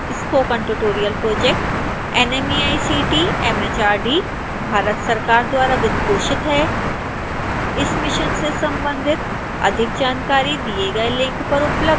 spoken tutorial project nmeict mhrd Bharat सरकार द्वारा वित्तपोषित है इस मिशन से संबंधित अधिक जानकारी दिए गए लिंक पर उपलब्ध है